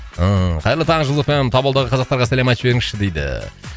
ыыы қайырлы таң жұлдыз эф эм таболдағы қазақтарға сәлем айтып жіберіңізші дейді